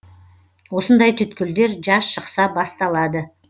осындай түйткілдер жаз шықса басталады